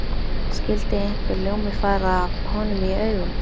Skyldi einhver ljómi fara af honum í augum